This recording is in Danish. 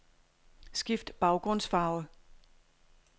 Skift baggrundsfarve.